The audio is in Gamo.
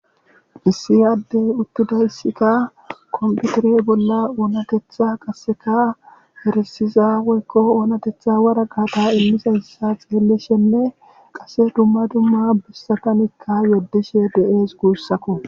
Issi adde uttidayssikka kompitire bolla oonatetha erisiza woykko oonatetha waraqqata imizayssa xeelishenne qasse dumma dumma bessatan yedishe de'ees guussakko.